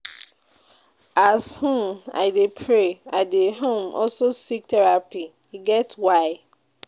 As um I dey pray, I dey um also seek therapy, e get why.